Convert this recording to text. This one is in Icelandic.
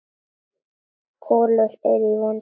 Kolur er í vondu skapi.